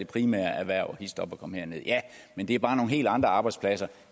primære erhverv hist op og kom herned ja men det er bare nogle helt andre arbejdspladser